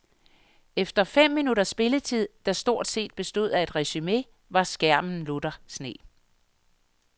Efter fem minutters spilletid, der stort set bestod af et resume, var skærmen lutter sne.